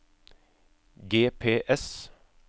GPS